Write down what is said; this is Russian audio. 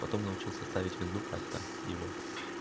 потом научился ставить винду как-то и вот